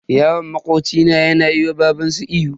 Yaron makoci na yana ma babanshi ihu.